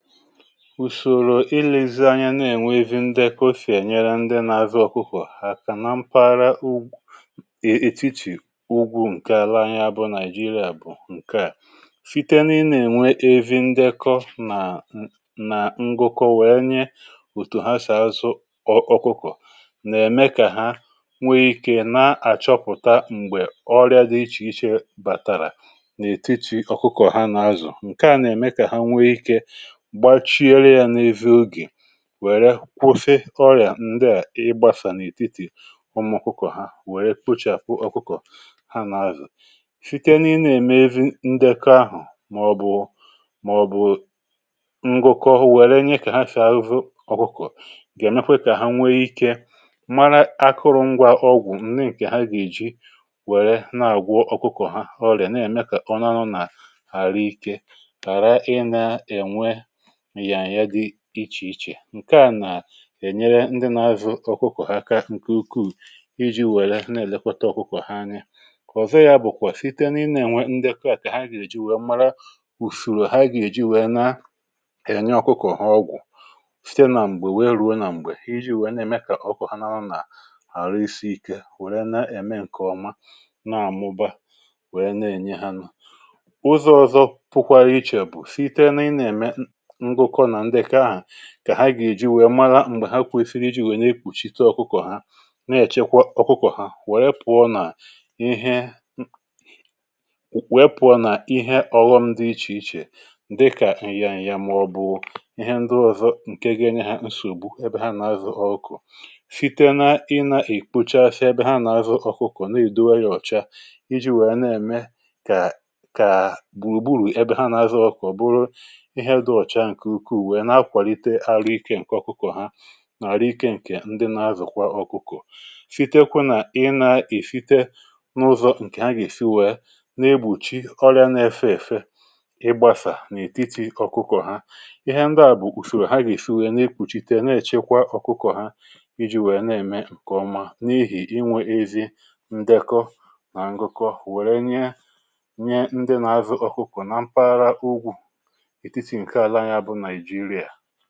Ùsòrò ịlị̀zianya nà-ènwe ezi ndekọ si ènyere ndị nà-àzụ ọkụkọ̀ aka na mpaghara ugwù è etiti ụgwụ̇ ǹke ala anyi bụ nàịjirịa bụ̀ ǹke à, site na ị na-ènwe ezi ndekọ nà nà ngụkọ wee nye òtù ha sì azụ ọkụkọ̀ nà-ème kà ha nwee ikė na-àchọpụ̀ta m̀gbè ọrịa dị ichè ichè bàtàrà n’ètiti ọkụkọ̀ ha nà-azụ̀ ǹke à nà-ème kà ha nwee ikė gbachiere ya na-ezi oge wère kwusi ọrị̀à ndịà ịgbȧsà n’ètitì ụmụ̀ ọkụkọ̀ ha wère kpochàpụ ọkụkọ̀ ha nà-azụ̀ site na ị na-eme ezi ndekọ ahụ̀ màọ̀bụ̀ màọ̀bụ̀ ngụkọ nwèrè nye ka ha si azụ ọkụkọ ga èmekwe kà ha nwee ikė mara akụrụngwȧ ọgwụ̀ ndi ǹkè ha gà-èji wèrè na-àgwọ ọkụkọ̀ ha ọrị̀à nà-ème kà ọ na-anọ̇ nà ahụikė hara ị nà-ẹwẹ nyanya dị iche iche ǹke à nà-ènyere ndị nȧ-azụ̀ ọkụkọ̀ aka ǹkè ukwuù iji̇ wère nà-èlekọta ọkụkọ̀ ha anya, nke òzò ya bụ̀kwà site na ị na-ènwe ndekọ̇ à kà ha gà-èji wèe mara ùsoro ha gà-èji wèe na-ènye ọkụkọ̀ ha ọgwụ̀ site na ṁgbe wèe ruo nà ṁgbe iji̇ wèe na-ème kà ọkụkọ ha na-anọ nà ahụ isi ike wère na-ème ǹkè ọma na-àmụba wèe na-ènye ha nu. Ụzọ̇ ọ̀zọ pụkwara ichè bụ site na ị na-emé ngụkọ na ndekọ ahụ kà ha gà-èji wèe mara m̀gbè ha kwesiri iji wèe na-ekpùchite ọ̀kụkọ̀ ha na-èchekwa ọ̀kụkọ̀ ha wèe pụ̀ọ nà ihe wèe pụ̀ọ nà ihe ọ̀ghọm dị ichè ichè dịkà ǹyàǹyà màọbụ̀ ihe ndị ọ̀zọ ǹke ga-enye ha nsògbu ebe ha na-azụ ọ̀kụkọ̀ site na ị nà-ìkpochasị ebe ha na-azụ ọ̀kụkọ̀ na-èdowe yȧ ọ̀cha iji̇ wèe na-ème kà kà gbùrùgburù ebe ha na-azụ ọ̀kụkọ̀buru ihe di ọcha nke ụkwuu wee na-akwalite ahụike ǹke ọkụkọ̀ ha nà àrụ ikė ǹkè ndị na-azụ̀kwa ọkụkọ̀, sitekwu̇ nà ị nà-èsite n’ụzọ̇ ǹkè ha gà-èsiwè na-egbùchi ọrị̇ȧ na-efė èfe ị gbasà n’ètiti ọkụkọ̀ ha. Ihe ndị à bụ̀ ùsoro ha gà-èsi wèe na-ekpùchite na-èchekwa ọkụkọ̀ ha iji̇ wèe na-ème ǹkè ọma n’ihì inwė ezi ndekọ nà ǹgụkọ̀ wèrè nye nye ndị na-azụ̀ ọkụkọ̀ nà mpaghara ugwù etiti ǹkè àlà anyị bụ Naịjịrịa.